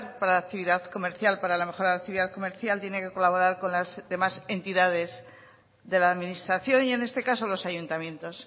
para la actividad comercial para la mejora de la actividad comercial tiene que colaborar con las demás entidades de la administración y en este caso los ayuntamientos